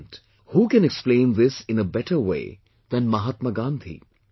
And, who can explain this in a better way than Mahatma Gandhi